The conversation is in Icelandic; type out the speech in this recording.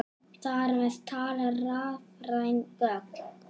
Þar með talið rafræn gögn.